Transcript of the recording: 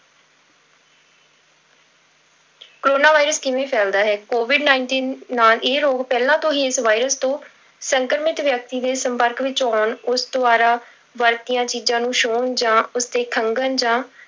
corona virus ਕਿਵੇਂ ਫੈਲਦਾ ਹੈ covid nineteen ਨਾਲ ਇਹ ਰੋਗ ਪਹਿਲਾਂ ਤੋਂ ਹੀ ਇਸ virus ਤੋਂ ਸੰਕਰਮਿਤ ਵਿਅਕਤੀ ਦੇ ਸੰਪਰਕ ਵਿੱਚ ਆਉਣ, ਉਸ ਦੁਆਰਾ ਵਰਤੀਆਂ ਚੀਜ਼ਾਂ ਨੂੰ ਛੂਹਣ ਜਾਂ ਉਸਦੇ ਖੰਘਣ ਜਾਂ